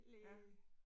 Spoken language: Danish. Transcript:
Ja